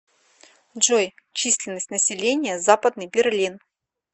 джой численность населения западный берлин